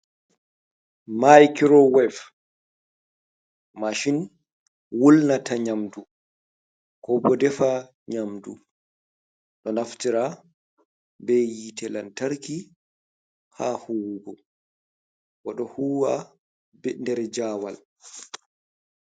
Maikuro wef mashin wulnata nyaamdu ko bo defa nyaamdu, ɗo naftira be yiite lantarki haa huwugo, bo ɗo huuwa be nder jawal.